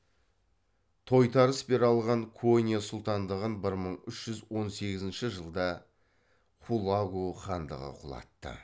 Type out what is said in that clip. тойтарыс бере алған конья сұлтандығын бір мың үш жүз он сегізінші жылда хулагу хандығы құлатты